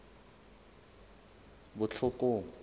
botlhokong